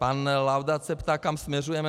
Pan Laudát se ptá, kam směřujeme.